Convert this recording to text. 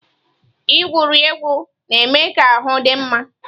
Igwuri egwu na-eme ka ahụ dị mma.